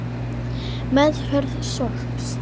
Meðferð sorps